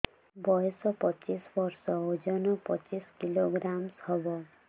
ବୟସ ପଚିଶ ବର୍ଷ ଓଜନ ପଚିଶ କିଲୋଗ୍ରାମସ ହବ